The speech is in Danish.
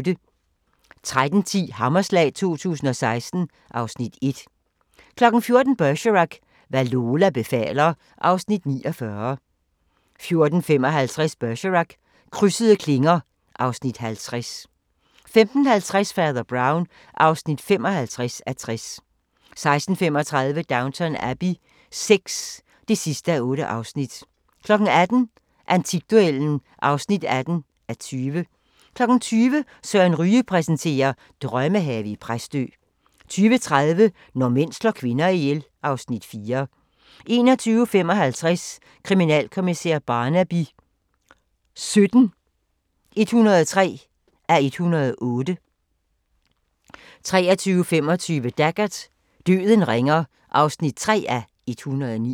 13:10: Hammerslag 2016 (Afs. 1) 14:00: Bergerac: Hvad Lola befaler (Afs. 49) 14:55: Bergerac: Krydsede klinger (Afs. 50) 15:50: Fader Brown (55:60) 16:35: Downton Abbey VI (8:8) 18:00: Antikduellen (18:20) 20:00: Søren Ryge præsenterer: Drømmehave i Præstø 20:30: Når mænd slår kvinder ihjel (Afs. 4) 21:55: Kriminalkommissær Barnaby XVII (103:108) 23:25: Taggart: Døden ringer (3:109)